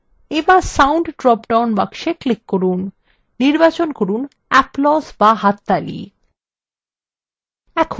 এরপর sound drop down box click করুন নির্বাচন করুন applause বা হাততালি